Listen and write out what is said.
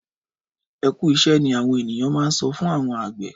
Ẹkú iṣẹ ni awọn ènìyàn má n sọ fún àwọn àgbẹ.